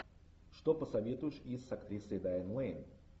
что посоветуешь из с актрисой дайан лэйн